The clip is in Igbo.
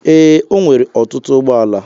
Ee, o nwere ọtụtụ ụgbọala